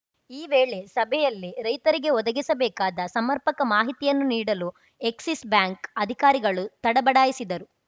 ಈ ವೇಳೆ ಸಭೆಯಲ್ಲಿ ರೈತರಿಗೆ ಒದಗಿಸಬೇಕಾದ ಸಮರ್ಪಕ ಮಾಹಿತಿಯನ್ನು ನೀಡಲು ಎಕ್ಸಿಸ್‌ ಬ್ಯಾಂಕ್‌ ಅಧಿಕಾರಿಗಳು ತಡಬಡಾಯಿಸಿದರು